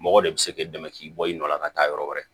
Mɔgɔ de bɛ se k'i dɛmɛ k'i bɔ i nɔ la ka taa yɔrɔ wɛrɛ